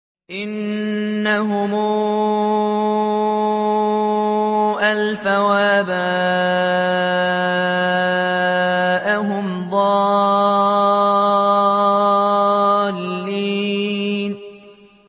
إِنَّهُمْ أَلْفَوْا آبَاءَهُمْ ضَالِّينَ